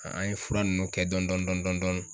An ye fura nunnu kɛ dɔni dɔni dɔni dɔni dɔni.